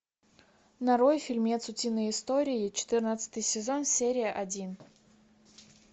нарой фильмец утиные истории четырнадцатый сезон серия один